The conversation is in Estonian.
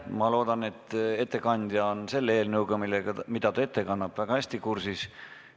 Ma loodan, et ettekandja on eelnõuga, mida ta ette kannab, väga hästi kursis.